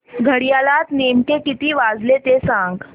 घड्याळात नेमके किती वाजले ते सांग